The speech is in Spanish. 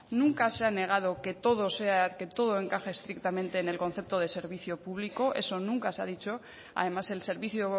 nunca se ha negado que todo sea que todo encaje estrictamente en el concepto de servicio público eso nunca se ha dicho además el servicio